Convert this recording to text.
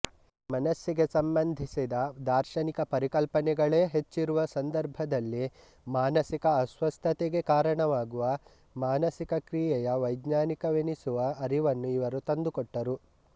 ಮನಸ್ಸಿಗೆ ಸಂಬಂಧಿಸಿದ ದಾರ್ಶನಿಕ ಪರಿಕಲ್ಪನೆಗಳೇ ಹೆಚ್ಚಿರುವ ಸಂದರ್ಭದಲ್ಲಿ ಮಾನಸಿಕ ಅಸ್ವಸ್ಥತೆಗೆ ಕಾರಣವಾಗುವ ಮಾನಸಿಕ ಕ್ರಿಯೆಯ ವೈಜ್ಞಾನಿಕವೆನಿಸುವ ಅರಿವನ್ನು ಇವರು ತಂದುಕೊಟ್ಟರು